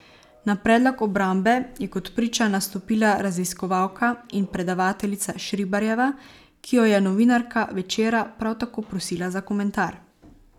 Na predlog obrambe je kot priča nastopila raziskovalka in predavateljica Šribarjeva, ki jo je novinarka Večera prav tako prosila za komentar.